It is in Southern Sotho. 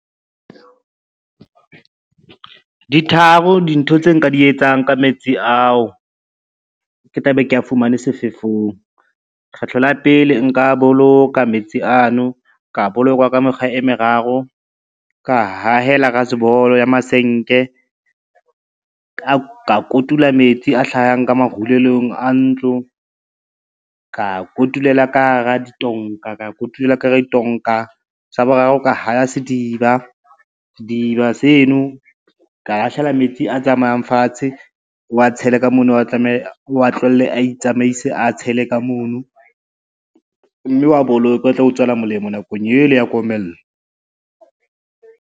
Di tharo dintho tse nka di etsang ka metsi ao, ke tla be ke a fumane sefefong. Kgetlo la pele nka boloka metsi ano ka bolokwa ka mekgwa e meraro, ka hahela rasebolo ya masenke, ka kotula metsi a hlahang ka marulelong a ntlo ka kotulela ka hara ditonka, sa boraro ka haya sediba, sediba seno ka akgela metsi a tsamayang fatshe, o wa tshele ka mono, o wa tlohele a itsamaise a tshele ka mono, mme wa boloke a tlo o tswela molemo nakong ela ya komello.